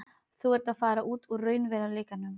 Þú ert að fara út úr raunveruleikanum.